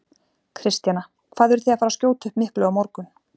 Kristjana: Hvað eruð þið að fara skjóta upp miklu á morgun?